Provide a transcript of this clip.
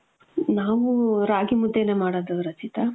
ನಾವು ರಾಗಿ ಮುದ್ದೇನೆ ಮಾಡೋದು ರಚಿತ .